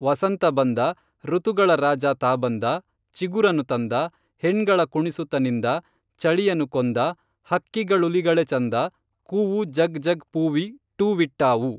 ವಸಂತ ಬಂದ ಋತುಗಳ ರಾಜ ತಾ ಬಂದ ಚಿಗುರನು ತಂದ ಹೆಣ್ಗಳ ಕುಣಿಸುತ ನಿಂದ ಚಳಿಯನು ಕೊಂದ ಹಕ್ಕಿಗಳುಲಿಗಳೆ ಚೆಂದ ಕೂವೂ ಜಗ್ ಜಗ್ ಪೂವಿ ಟ್ಟೂವಿಟ್ಟಾವೂ